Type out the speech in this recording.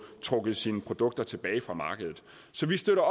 trukket sine produkter tilbage fra markedet så vi støtter